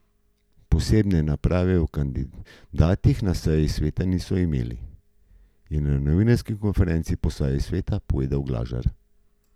Posebne razprave o kandidatih na seji sveta niso imeli, je na novinarski konferenci po seji sveta povedal Glažar.